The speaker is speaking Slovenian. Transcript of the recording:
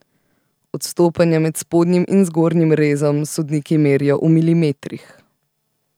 Odstopanja med spodnjim in zgornjim rezom sodniki merijo v milimetrih.